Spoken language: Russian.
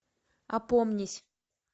опомнись